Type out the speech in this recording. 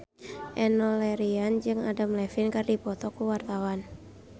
Enno Lerian jeung Adam Levine keur dipoto ku wartawan